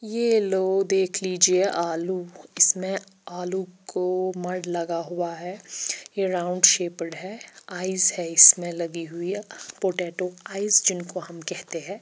ये लो देख लीजिए आलू इसमें आलू को मर्ड लगा हुआ है ये राउंड सेपड है आईज है इसमें लगी हुई पोटैटो आईज जिनको हम केहते है।